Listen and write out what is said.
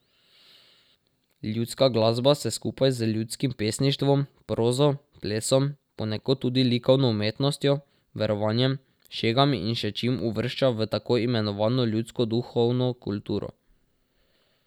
Ljudska glasba se skupaj z ljudskim pesništvom, prozo, plesom, ponekod tudi likovno umetnostjo, verovanjem, šegami in še čim uvršča v tako imenovano ljudsko duhovno kulturo.